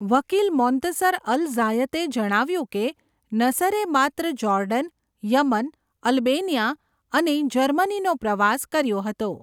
વકીલ Montasser al ઝાયતે જણાવ્યુંં કે નસરે માત્ર જોર્ડન, યમન, અલ્બેનિયા અને જર્મનીનો પ્રવાસ કર્યો હતો.